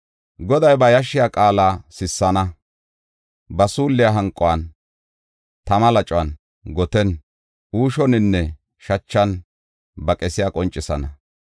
Goday ba yashshiya qaala sissana; ba suulliya hanquwan, tama lacuwan, gotiyan, uushuwaninne shachan ba qesiya qoncisana.